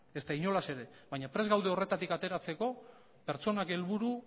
ezta inolaz ere baina prest gaude horretatik ateratzeko pertsonak helburu